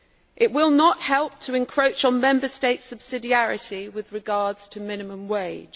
it will not help to encroach on Member States' subsidiarity with regard to minimum wage